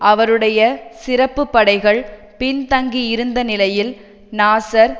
அவருடைய சிறப்பு படைகள் பின்தங்கியிருந்த நிலையில் நாசர்